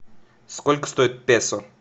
сколько стоит песо